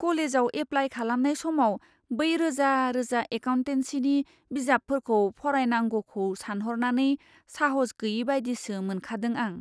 कलेजआव एप्लाय खालामनाय समाव बै रोजा रोजा एकाउन्टेनसिनि बिजाबफोरखौ फरायनांगौखौ सानहरनानै साहस गैयैबायदिसो मोनखादों आं।